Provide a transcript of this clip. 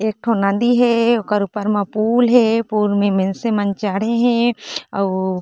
एक ठो नदी हे ओकर ऊपर मै पुल हे पुल मे मिलसी मन चड़े हे अउ --